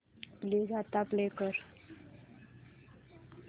please आता play कर